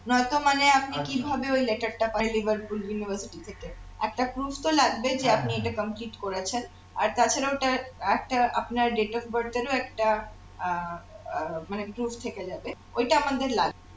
নয়তো মানে আপনি কিভাবে ওই letter টা পেলেন liverpool university থেকে একটা prove তো লাগবে যে আপনি এটা complete করেছেন আর তাছাড়া ওটার একটা আপনার date of birth এর ও একটা আহ আহ মানে prove থেকে যাবে ওইটা আমাদের লাগবে